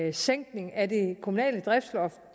en sænkning af det kommunale driftsloft